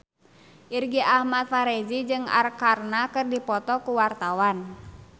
Irgi Ahmad Fahrezi jeung Arkarna keur dipoto ku wartawan